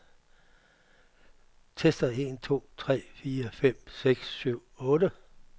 Tester en to tre fire fem seks syv otte.